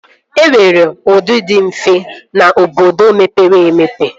E nwere ndụ dị mfe n'obodo mepere emepe